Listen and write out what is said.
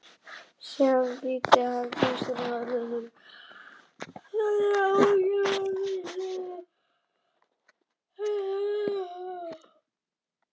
Síðan þýddi hann textann löndum sínum til sannrar ánægju og viðstöddum útlendingum til stórrar furðu.